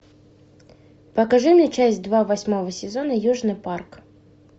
покажи мне часть два восьмого сезона южный парк